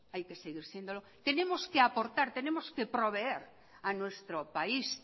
hay que seguir siéndolo tenemos que aportar tenemos que proveer a nuestro país